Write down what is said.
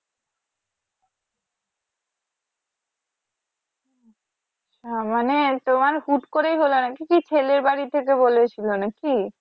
হ্যা মানে তোমার হুট করেই হলো নাকি ছেলের বাড়ি থেকে বলেছিলো নাকি?